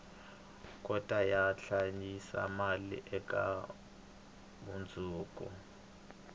kota ku hlayisa mali eka mundzuku